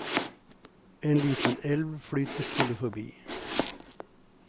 En liten elv flyter stille forbi.